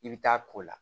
I bɛ taa k'o la